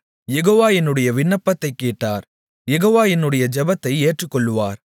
யெகோவா என்னுடைய விண்ணப்பத்தைக் கேட்டார் யெகோவா என்னுடைய ஜெபத்தை ஏற்றுக்கொள்ளுவார்